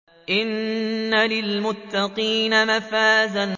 إِنَّ لِلْمُتَّقِينَ مَفَازًا